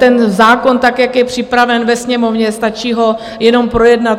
Ten zákon tak, jak je připraven ve Sněmovně, stačí ho jenom projednat.